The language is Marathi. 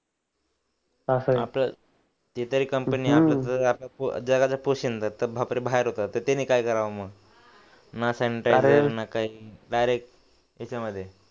आपलं ते तरी कंपन्या जगाचा पोशिंदा बाहेर होतात तर त्यांनी काय करावं मग ना सांनीटईसर ना काही डायरेक्ट याच्यामध्ये